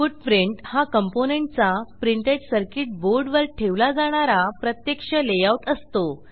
footprint हा component चा printed circuit board वर ठेवला जाणारा प्रत्यक्ष लेआऊट असतो